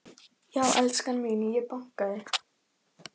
Já en elskan mín. ég bankaði!